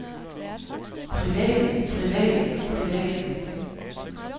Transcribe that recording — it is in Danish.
private private private